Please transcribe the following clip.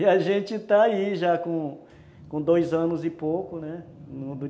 E a gente está aí já com com dois anos e pouco, né?